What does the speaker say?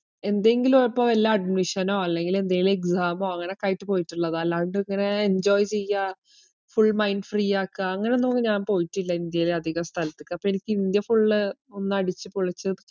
എന്തെങ്കിലും ഇപ്പോ വല്ല admission ഓ അല്ലെങ്കില് എന്തേലും exam ഓ അങ്ങനൊക്കെയായിട്ട് പോയിട്ടുള്ളതാ. അല്ലാണ്ട് ഇങ്ങനെ enjoy ചെയ്യാ full mind free ആക്കാ അങ്ങനൊന്നും ഒന്നും ഞാൻ പോയിട്ടില്ല ഇന്ത്യയേല് അധികം സ്ഥലത്തൊക്കെ. അപ്പൊ എനിക്ക് ഇന്ത്യ full ഒന്നടിച്ചുപൊളിച്ച്